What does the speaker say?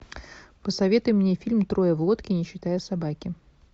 посоветуй мне фильм трое в лодке не считая собаки